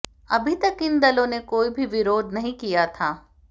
अभी तक इन दलों ने कोई भी विरोध नहीं किया था